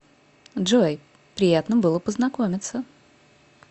джой приятно было познакомиться